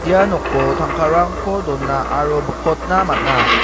ia noko tangkarangko dona aro bikotna man·a.